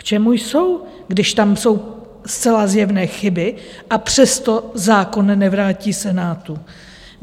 K čemu jsou, když tam jsou zcela zjevné chyby, a přesto zákon nevrátí Senát?